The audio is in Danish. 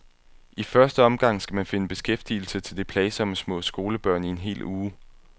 I første omgang skal man finde beskæftigelse til de plagsomme små skolebørn i en hel uge.